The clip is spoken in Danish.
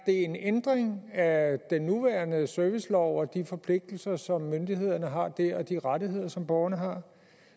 en ændring af den nuværende servicelov og de forpligtelser som myndighederne har der og de rettigheder som borgerne har